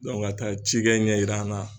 ka taa ci kɛ ɲɛ yira an na.